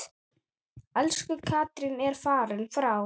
Elsku Katrín er fallin frá.